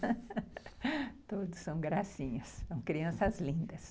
Todos são gracinhas, são crianças lindas.